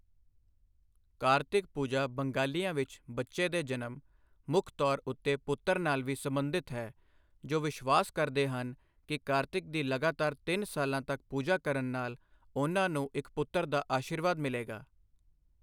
ਕਾਰਤਿਕ ਪੂਜਾ ਬੰਗਾਲੀਆਂ ਵਿੱਚ ਬੱਚੇ ਦੇ ਜਨਮ, ਮੁੱਖ ਤੌਰ ਉੱਤੇ ਪੁੱਤਰ, ਨਾਲ ਵੀ ਸਬੰਧਿਤ ਹੈ ਜੋ ਵਿਸ਼ਵਾਸ ਕਰਦੇ ਹਨ ਕਿ ਕਾਰਤਿਕ ਦੀ ਲਗਾਤਾਰ ਤਿੰਨ ਸਾਲਾਂ ਤੱਕ ਪੂਜਾ ਕਰਨ ਨਾਲ ਉਨਾਂ ਨੂੰ ਇੱਕ ਪੁੱਤਰ ਦਾ ਅਸ਼ੀਰਵਾਦ ਮਿਲੇਗਾ।